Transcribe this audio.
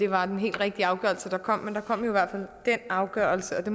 var den helt rigtige afgørelse der kom men der kom jo i hvert fald den afgørelse og det